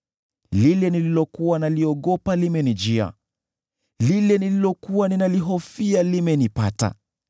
Lile nililokuwa naliogopa limenijia; lile nililokuwa ninalihofia limenipata.